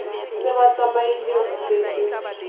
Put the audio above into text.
se ba tsamaile ho setse